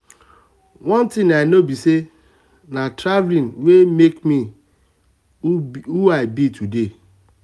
one thing i know be say na um traveling wey make me who i be today